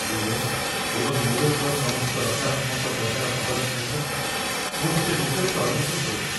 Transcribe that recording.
US. ଏବଂ ୟୁରୋପର ସମସ୍ତ ନକାରାତ୍ମକ ବଜାର ଭାବନା ସହିତ ମୁଁ ଟିକେ ବିଚଳିତ ଅନୁଭବ କରୁଛି